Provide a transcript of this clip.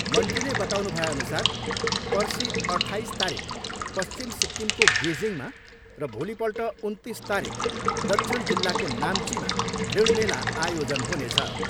मन्त्रीले बताउनु भएअनुसार पर्सि अठाइस तारिक पश्चिम सिक्किमको गेजिङमा र भोलिपल्ट उन्तिस तारिक दक्षिण जिल्लाको नाम्चीमा ऋण मेला आयोजन हुनेछ।